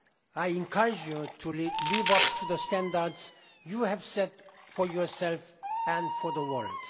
I encourage you to live up to the standards you have set for yourselves and for the world.